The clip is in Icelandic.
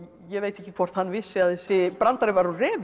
ég veit ekki hvort hann vissi að þessi brandari var úr